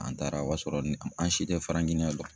An taara ,o y'a sɔrɔ an si tɛ Giniɲɛn dɔn.